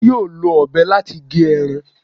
Dele yóò lọ obé latí gé erán